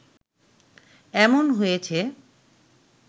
এমন হয়েছে